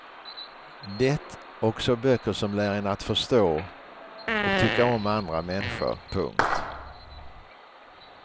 Det och så böcker som lär en att förstå och tycka om andra människor. punkt